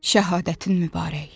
Şəhadətin mübarək.